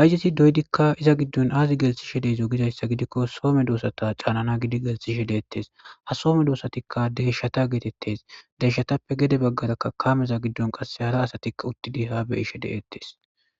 hayjeti doydikka iza giddon aazi geltishe deezo gidayssa gidikko soome doosata caanana gidi gelthishe deettes ha soome doosatikka deshshata geetettes deeshshatappe gede baggarakka kameza giddon qase hara asatikka uttidi ha be ishe deettes.